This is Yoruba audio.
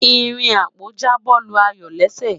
ìrìn ako ja bo Lu ayọ lésè